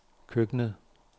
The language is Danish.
køkkenet